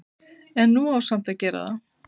En nú á samt að gera það.